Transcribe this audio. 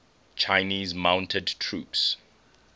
chinese mounted troops